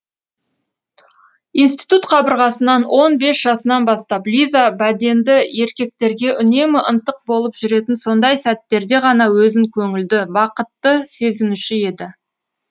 институт қабырғасынан он бес жасынан бастап лиза бәденді еркектерге үнемі ынтық болып жүретін сондай сәттерде ғана өзін көңілді бақытты сезінуші еді